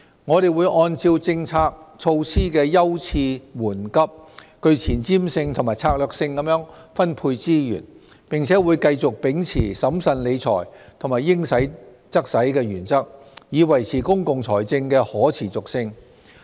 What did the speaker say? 我們會按照政策措施的優次緩急，具前瞻性和策略性地分配資源，並會繼續秉持審慎理財和"應使則使"的原則，以維持公共財政的可持續性。